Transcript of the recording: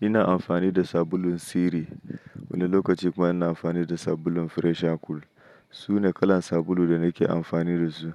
Ina amfani da sabulun Siri, wani lokaci kuma ina amfani da sabulun Fresher Cool. Su ne kalar sabulu da nake amfani da su.